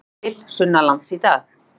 Léttir til sunnanlands í dag